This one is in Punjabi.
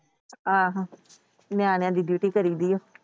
ਆਹੋ ਨਿਆਣਿਆਂ ਦੀ Duty ਕਰੀ ਦੀ ਆ।